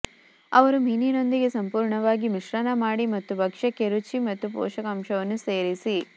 ಅವರು ಮೀನಿನೊಂದಿಗೆ ಸಂಪೂರ್ಣವಾಗಿ ಮಿಶ್ರಣ ಮಾಡಿ ಮತ್ತು ಭಕ್ಷ್ಯಕ್ಕೆ ರುಚಿ ಮತ್ತು ಪೋಷಕಾಂಶವನ್ನು ಸೇರಿಸಿ